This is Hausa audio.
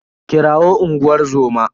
Kirawo unguwar zoma.